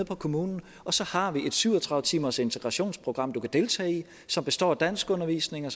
på kommunen og så har vi et syv og tredive timers integrationsprogram du kan deltage i som består af danskundervisning